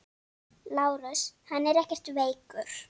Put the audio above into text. LÁRUS: Hann er ekkert veikur.